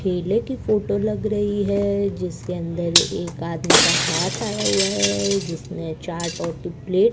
केले को फोटो लग रही है जिसके अंदर एक आदमी का हाथ आया हुआ है जिसमें चाट और प्लेट --